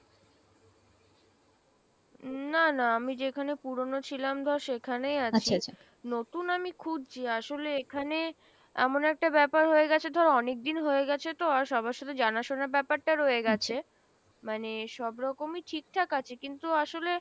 উম না না আমি যেখানে পুরনো ছিলাম ধর সেখানেই আছি নতুন আমি খুঁজছি আসলে এখানে এমন একটা ব্যাপার হয়ে গেছে ধর অনেকদিন হয়ে গেছে তো আর সবার সাথে জানাশোনা ব্যাপারটা রয়ে গেছে মানে সবরকমই ঠিক ঠাক আছে কিন্তু আসলে,